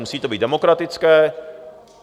Musí to být demokratické.